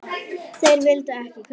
Þeir vildu ekki kaupa.